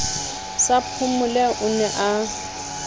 sa phomole o ne a